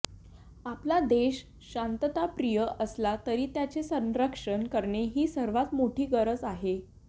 आपला देश शांतताप्रिय असला तरी त्याचे संरक्षण करणे ही सर्वात मोठी गरज आहे